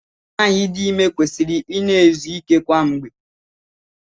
Nwaanyị dị ime kwesịrị ị na-ezu ike kwa mgbe.